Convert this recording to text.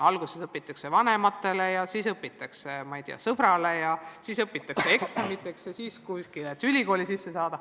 Alguses õpitakse vanematele ja siis õpitakse, ma ei tea, sõbrale, siis õpitakse eksamiteks ja et kuskile ülikooli sisse saada.